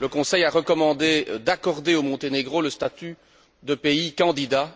le Conseil a recommandé d'accorder au Monténégro le statut de pays candidat.